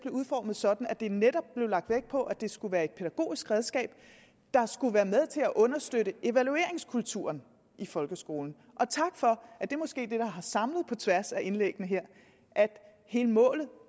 udformet sådan at der netop blev lagt vægt på at det skulle være et pædagogisk redskab der skulle være med til at understøtte evalueringskulturen i folkeskolen og tak for at det måske er det der har samlet på tværs af indlæggene her altså hele målet